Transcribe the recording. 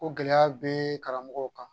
Ko gɛlɛya be karamɔgɔw kan